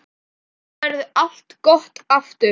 Þá verður allt gott aftur.